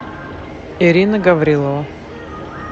ирина гаврилова